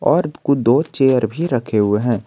और दो चेयर भी रखे हुए हैं।